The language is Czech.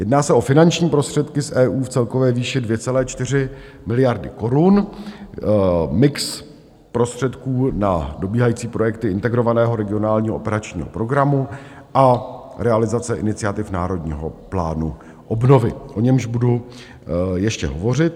Jedná se o finanční prostředky z EU v celkové výši 2,4 miliardy korun, mix prostředků na dobíhající projekty Integrovaného regionálního operačního programu a realizace iniciativ Národního plánu obnovy, o němž budu ještě hovořit.